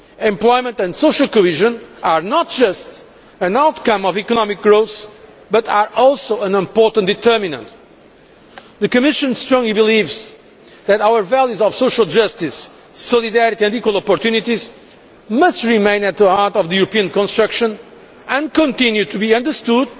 Employment and social cohesion are not just an outcome of economic growth but are also an important determinant. The Commission strongly believes that our values of social justice, solidarity and equal opportunities must remain at the heart of European integration and continue to be understood